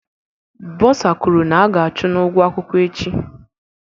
Bosa kwuru na aga achụ n'ugwo akwụkwọ echi